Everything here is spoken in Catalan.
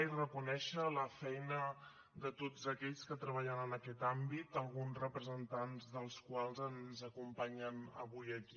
i reconèixer la feina de tots aquells que treballen en aquest àmbit alguns representants dels quals ens acompanyen avui aquí